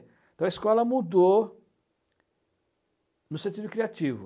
Então, a escola mudou no sentido criativo.